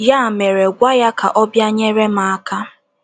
Ya mere, gwa ya ka ọ bịa nyere m aka. ’